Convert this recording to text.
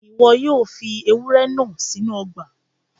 Ìwo yio fi àwon ewúrẹ́ náà sínú ogbà